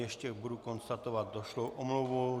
Ještě budu konstatovat došlou omluvu.